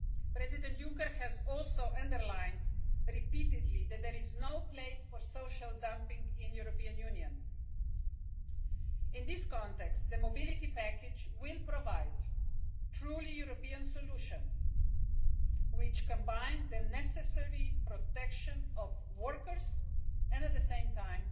President Juncker has also repeatedly underlined that there is no place for social dumping in the European Union. In this context, the Mobility package will provide a truly European solution, which includes the necessary protection of workers and, at the same time,